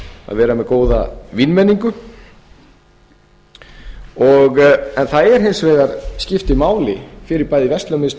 vera með góða vínmenningu það skiptir hins vegar máli fyrir bæði verslunarmiðstöð